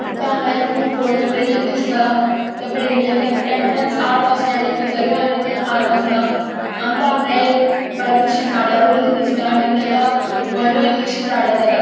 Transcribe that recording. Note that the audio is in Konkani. आमका हांगा एक कुब पोरने बिल्डिंग दिसता त्या बिल्डिंगेक एक एंट्रन्स आर्क असा आणि बितरी आणि दोन आर्क असा आमका हांगा एक बरिक्सशी झाडा रोइली दिसता आणि ताका बरी इलीशी झाड़ा झाल्या.